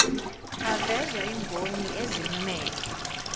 avezwa yimboni ezimmele